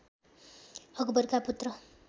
अकबरका पुत्र